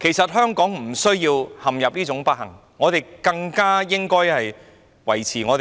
其實，香港無須陷入這種不幸的狀況，我們應維持香港